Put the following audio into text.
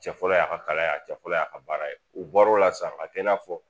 Cɛ fɔlɔ y'a ka kalaya ye a cɛ fɔlɔ y'a ka baara ye u bɔr'o la sa a tɛ i n'a fɔ